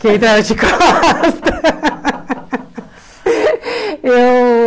Que entrava de costas. Eu